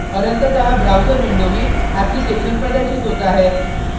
और अंततः browser window में application प्रदर्शित होता है